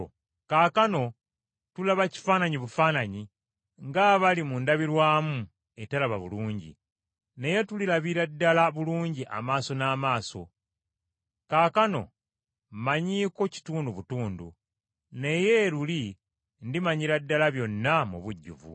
Kaakano tulaba kifaananyi bufaananyi, ng’abali mu ndabirwamu eteraba bulungi; naye tulirabira ddala bulungi amaaso n’amaaso. Kaakano mmanyiiko kitundu butundu, naye luli ndimanyira ddala byonna, mu bujjuvu.